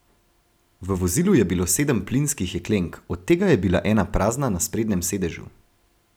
V vozilu je bilo sedem plinskih jeklenk, od tega je bila ena prazna na sprednjem sedežu.